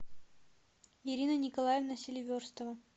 ирина николаевна селиверстова